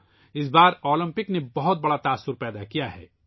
اس بار اولمپکس نے بہت بڑا اثر ڈالا ہے